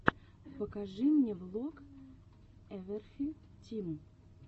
покажи мне влог эвэрфри тим